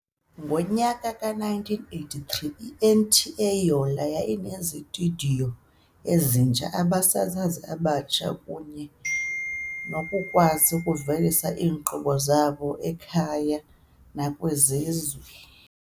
Ngo-1983, i-NTA Yola yayinezitudiyo ezitsha, abasasazi abatsha kunye nokukwazi ukuvelisa iinkqubo zabo ekhaya nakwisizwe.